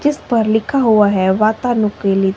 जिस पर लिखा हुआ है वातानुकूलित--